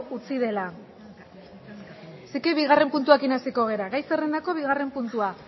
utzi dela beraz bigarren puntuarekin hasiko gara gai zerrendako bigarren puntua